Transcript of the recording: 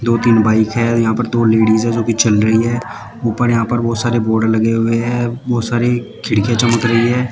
दो तीन बाइक हैं और यहां पर दो लेडिज है जो चल रही हैं ऊपर यहां पर बहोत सारे बोर्ड लगे हुए हैं बहोत सारी खिड़कियां चमक रही हैं।